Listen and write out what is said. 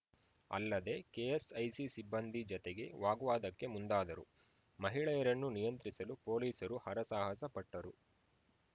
ಅಲ್ಲದೆ ಕೆಎಸ್‌ಐಸಿ ಸಿಬ್ಬಂದಿ ಜತೆಗೆ ವಾಗ್ವಾದಕ್ಕೆ ಮುಂದಾದರು ಮಹಿಳೆಯರನ್ನು ನಿಯಂತ್ರಿಸಲು ಪೊಲೀಸರು ಹರಸಾಹಸಪಟ್ಟರು